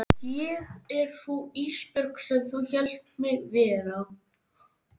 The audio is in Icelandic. Ég er sú Ísbjörg sem þú hélst mig vera.